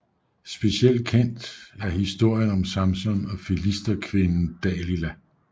Specielt kendt er historien om Samson og filisterkvinden Dalila